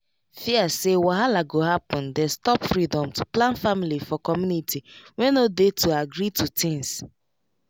fear say wahala go happen dey stop freedom to plan family for community wey no dey to agree to things